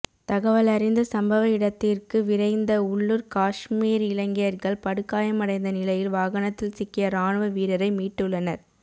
தகவலறிந்த சம்பவயிடத்திற்கு விரைந்த உள்ளுர் காஷ்மீர் இளைஞர்கள் படுகாயமடைந்த நிலையில் வாகனத்தில் சிக்கிய இராணுவ வீரரை மீட்டுள்ளனர்